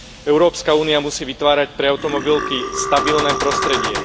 Európska únia musí vytvárať pre automobilky stabilné prostredie.